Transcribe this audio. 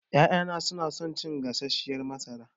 Ƴaƴana suna son cin gasasshiyar masara.